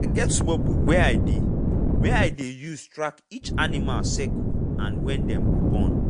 i get small book wey i dey wey i dey use track each animal cycle and when dem go born.